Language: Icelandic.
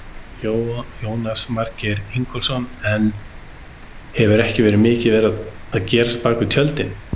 Jónas Margeir Ingólfsson: En hefur ekki mikið verið að gerast á bakvið tjöldin?